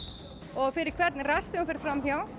og fyrir hvern rass sem þú ferð fram hjá